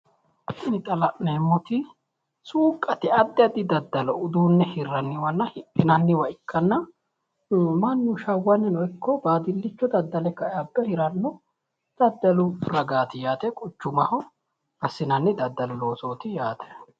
Tini xa la'neemmoti suuqqate addi addi daddalo uduunne hirranniwanna hidhinanniwa ikkanna mannu shawwannino ikko baadillitte daddale ka"e abbe hiranno daddalu ragaati yaate quchumaho assinanni daddalu loosooti yaate.